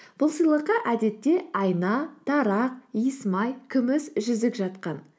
бұл сыйлыққа әдетте айна тарақ иіс май күміс жүзік жатқан